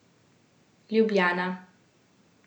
Ljubljana.